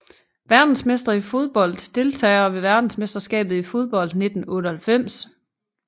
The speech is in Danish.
Verdensmestre i fodbold Deltagere ved verdensmesterskabet i fodbold 1998